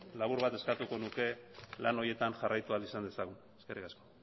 labur bat eskatuko nuke lan horietan jarraitu ahal izan dezagun eskerrik asko